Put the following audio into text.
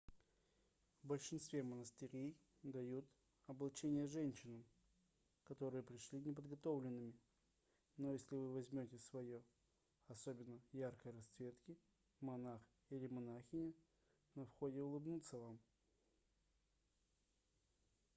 в большинстве монастырей дают облачение женщинам которые пришли неподготовленными но если вы возьмете свое особенно яркой расцветки монах или монахиня на входе улыбнутся вам